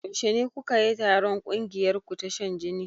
Yaushe kukayi taron ƙungiyarku ta shan jini?